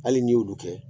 Hali n'i y'olu kɛ